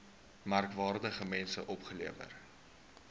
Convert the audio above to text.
merkwaardige mense opgelewer